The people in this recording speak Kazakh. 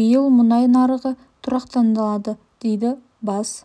биыл мұнай нарығы тұрақталады дейді бас